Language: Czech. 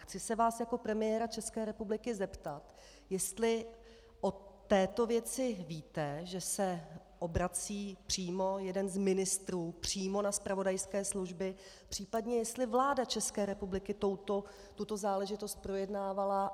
Chci se vás jako premiéra České republiky zeptat, jestli o této věci víte, že se obrací přímo jeden z ministrů přímo na zpravodajské služby, případně jestli vláda České republiky tuto záležitost projednávala.